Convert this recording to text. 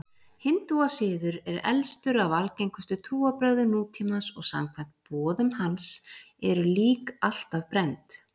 Hindúasiður er elstur af algengustu trúarbrögðum nútímans og samkvæmt boðum hans eru lík alltaf brennd.